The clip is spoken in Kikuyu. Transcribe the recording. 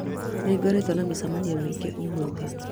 nĩ ngoretwo na mĩcemanio mĩingĩ ũmũthĩ